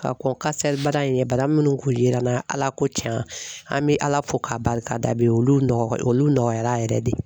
Ka kɔn kansɛribana in ɲɛ bana minnu kun yera n na Ala ko tiɲɛ, an bɛ Ala fo k'a barika da bi olu nɔgɔ nɔgɔyara yɛrɛ de